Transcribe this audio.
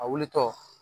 A wulitɔ